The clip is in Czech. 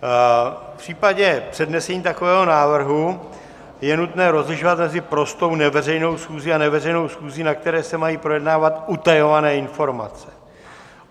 V případě přednesení takového návrhu je nutné rozlišovat mezi prostou neveřejnou schůzí a neveřejnou schůzí, na které se mají projednávat utajované informace.